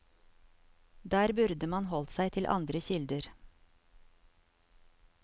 Der burde man holdt seg til andre kilder.